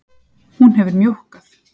Hún hefur mjókkað.